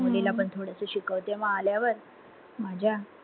मुलीला पण थोडस शिकवते म आल्यावर माझ्या